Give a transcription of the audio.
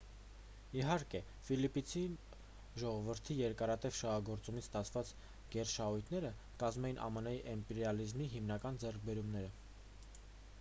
իհարկե ֆիլիպինցի ժողովրդի երկարատև շահագործումից ստացված գերշահույթները կկազմեին ամն-ի իմպերիալիզմի հիմնական ձեռքբերումները